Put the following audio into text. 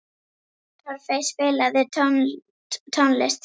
Torfey, spilaðu tónlist.